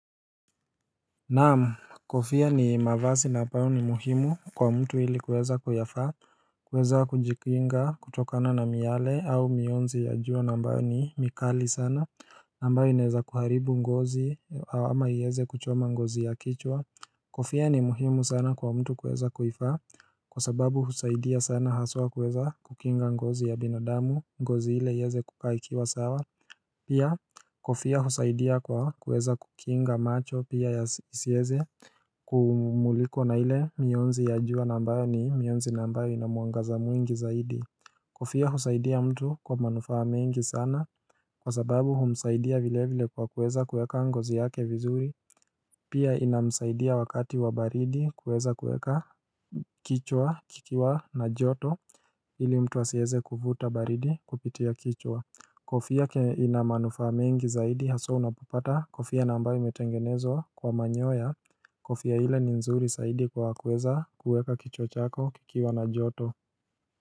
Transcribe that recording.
Naam kofia ni mavazi na ambayo ni muhimu kwa mtu ili kuweza kuyavaa kuweza kujikinga kutokana na miale au mionzi ya jua na ambayo ni mikali sana na ambayo inaweza kuharibu ngozi au ama iweze kuchoma ngozi ya kichwa Kofia ni muhimu sana kwa mtu kuweza kuivaa Kwa sababu husaidia sana haswa kuweza kukinga ngozi ya binadamu ngozi ile iweze kukaa ikiwa sawa Pia kofia husaidia kwa kuweza kukinga macho pia yasiweze Kumulikwa na ile mionzi ya jua na ambayo ni mionzi na ambayo inamwangaza mwingi zaidi Kofia husaidia mtu kwa manufaa mengi sana Kwa sababu humsaidia vile vile kwa kuweza kueka ngozi yake vizuri Pia inamsaidia wakati wa baridi kuweza kuweka kichwa kikiwa na joto ili mtu asiweze kuvuta baridi kupitia kichwa Kofia inamanufaa mengi zaidi haswa unapopata kofia na ambayo imetengenezwa kwa manyoya Kofia ile ni nzuri zaidi kwa kuweza kuweka kichwa chako kikiwa na joto.